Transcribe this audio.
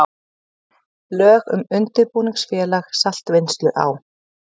Lög um undirbúningsfélag saltvinnslu á